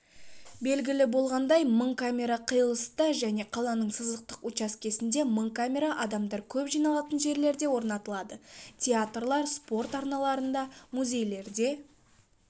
белгілі болғандай мың камера қиылыста және қаланың сызықтық учаскесінде мың камера адамдар көп жиналатын жерлерде орнатылады театрлар спорт ареналары музейлерде